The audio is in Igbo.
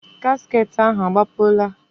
Gasket ahụ agbapụla?